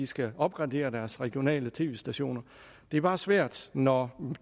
skal opgradere deres regionale tv stationer det er bare svært når